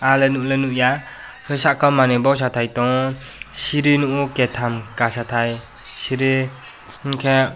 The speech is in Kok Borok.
angle nogke nogya sakao manui boksai tai tango siri nogyo keitam kasatai siri hingke.